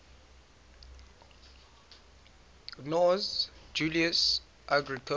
gnaeus julius agricola